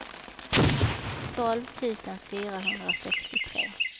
tolv tusen fyrahundrasextiotre